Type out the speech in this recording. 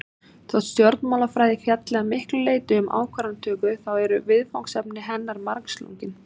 Þótt stjórnmálafræði fjalli að miklu leyti um ákvarðanatöku þá eru viðfangsefni hennar margslungin.